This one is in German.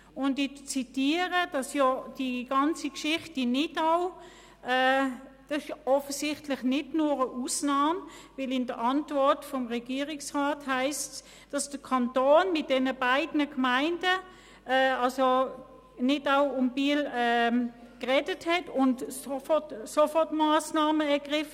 Ich zitiere, dass die ganze Geschichte in Nidau offensichtlich nicht nur eine Ausnahme ist, denn in der Antwort des Regierungsrats heisst es, der Kanton habe mit den beiden Gemeinden Nidau und Biel gesprochen und Sofortmassnahmen ergriffen.